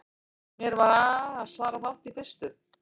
Mér varð svarafátt í fyrstu.